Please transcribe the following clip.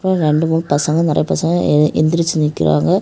ரெண்டு மூணு பசங்க நெறைய பசங்க எந்திரிச்சு நிக்கிறாங்க.